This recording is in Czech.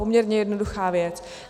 Poměrně jednoduchá věc.